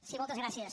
sí moltes gràcies